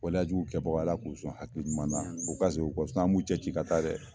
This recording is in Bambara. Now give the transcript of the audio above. Waleyajugu kɛbaaw Ala k'u son hakili ɲuman na u ka segin u kɔ an b'u cɛci ka taa dɛ